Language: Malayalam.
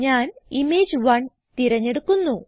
ഞാൻ ഇമേജ്1 തിരഞ്ഞെടുക്കുന്നു